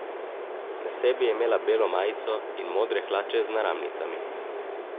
Na sebi je imela belo majico in modre hlače z naramnicami.